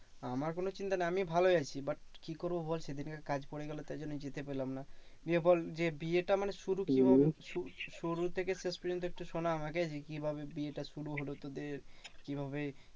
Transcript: আমার কোনো চিন্তা নেই আমি ভালোই আছি but কি করবো বল সেদিনের কাজ পরে গেলো সেই জন্য যেতে পারলাম না। নিয়ে বল যে বিয়েটা মানে শুরু কিভাবে সু শুরু থেকে শেষ পর্যন্ত একটু শোনা আমাকে যে, কিভাবে বিয়েটা শুরু হলো তোদের? কিভাবে